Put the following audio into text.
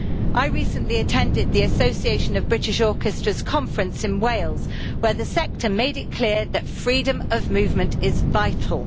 I recently attended the Association of British Orchestras' conference in Wales, where the sector made it clear that freedom of movement is vital.